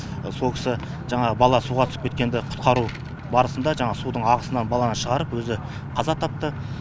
сол кісі жаңағы бала суға түсіп кеткенде құтқару барысында жаңағы судын ағысынан баланы шығарып өзі қаза тапты